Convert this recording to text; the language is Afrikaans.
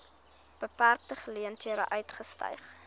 beperkte geleenthede uitgestyg